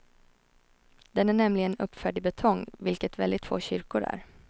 Den är nämligen uppförd i betong, vilket väldigt få kyrkor är.